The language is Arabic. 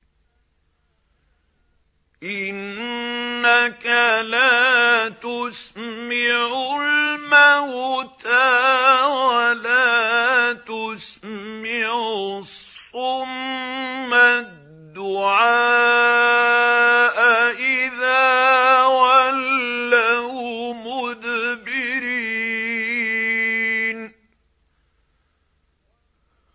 إِنَّكَ لَا تُسْمِعُ الْمَوْتَىٰ وَلَا تُسْمِعُ الصُّمَّ الدُّعَاءَ إِذَا وَلَّوْا مُدْبِرِينَ